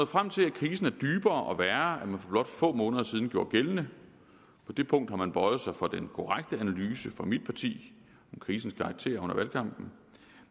frem til at krisen er dybere og værre man for blot få måneder siden gjorde gældende på det punkt har man bøjet sig for den korrekte analyse fra mit parti om krisens karakter under valgkampen